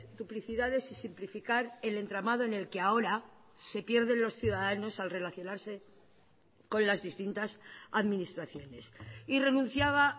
duplicidades y simplificar el entramado en el que ahora se pierden los ciudadanos al relacionarse con las distintas administraciones y renunciaba